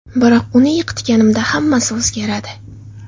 Biroq uni yiqitganimda hammasi o‘zgaradi.